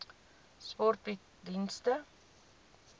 sport bied dienste